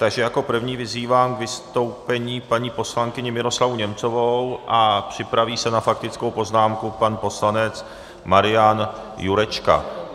Takže jako první vyzývám k vystoupení paní poslankyni Miroslavu Němcovou a připraví se na faktickou poznámku pan poslanec Marian Jurečka.